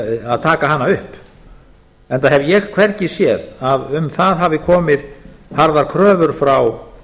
að taka hana upp enda hef ég hvergi séð að um það hafi komið harðar kröfur frá